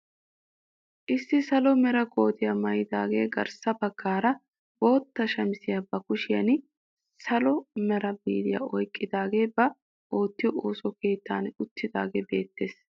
Issi salo mera kootiyaa maayidaagee garssa baggaara bootta shamisiyaa ba kushiyaan salo mera biiriyaa oyqidaagee ba oottiyoo ooso keettan uttidaagee beettees.